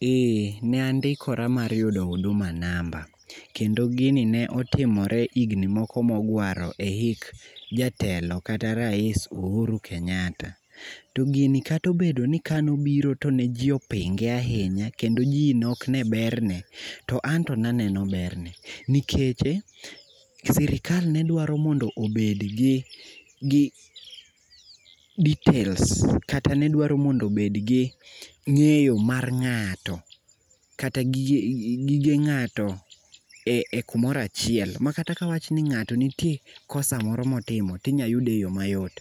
Eh, ne andikora mar yudo huduma namba, kendo gini ne otimore higni moko mogwaro e hik jatelo kata rais UHuru Kenyatta. To gini katobedo ni kanobiro to ne ji opinge ahinya kendo ji ne ok ne berne, to anto ne aneno berne nikeche sirikal ne dwaro mondop obedgi details kata ne dwaro mondo obedgi ng'eyo mar ng'ato kata gige ng'ato e kumoro achiel makata kawach ni ng'ato nitie kosa moro motimo tinyayude e yo mayot.